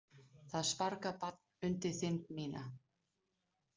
Það sparkar barn undir þind mína.